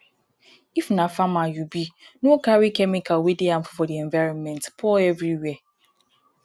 if na farmer you be no carry chemical wey dey harmful for di environment pour everywhere